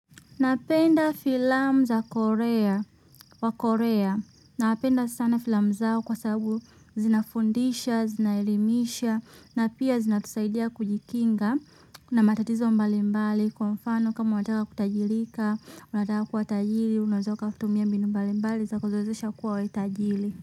Napenda filamu za korea wa korea. Napenda sana filamu zao kwa sababu zinafundisha, zinaelimisha na pia zinatusaidia kujikinga na matatizo mbali mbali kwa mfano kama wataka kutajirika, wataka kuwa tajiri, unaeza ukatumia mbinu mbali mbali za kukuwezesha uwe tajiri.